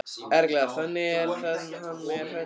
Erla: Þannig að hann er hræddur?